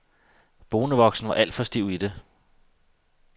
Bonevoksen var alt for stiv i det.